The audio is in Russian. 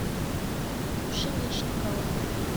пшеничникова